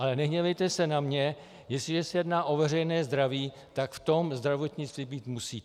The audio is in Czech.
Ale nehněvejte se na mě, jestliže se jedná o veřejné zdraví, tak v tom zdravotnictví být musí.